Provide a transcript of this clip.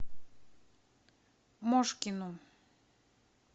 мошкину